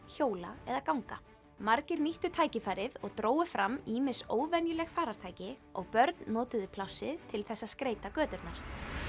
hjóla eða ganga margir nýttu tækifærið og drógu fram ýmis óvenjuleg farartæki og börn notuðu plássið til þess að skreyta göturnar